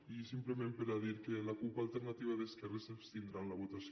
i simplement per a dir que la cup alternativa d’esquerres s’abstindrà en la votació